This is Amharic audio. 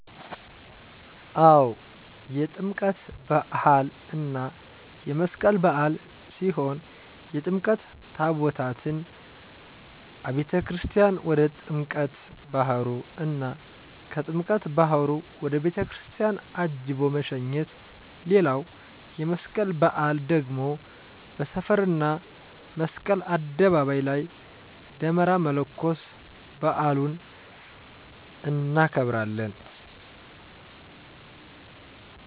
አው የጥምቀት በሃል እና የመስቀል በዓል ሲሆን የጥምቀት ታቦታትን አቤተክርስትያን ወደ ጥምቀት ባህሩ እና ከጥምቀተ ባህሩ ወደ ቤተክርስቲያን አጅቦ መሸኘት ሌላዉ የመስቀል በአል ደግሞ በሰፈር እና መስቀል አደባባይ ላይ ደመራ መለኮስ በአሉን እናከብራለን።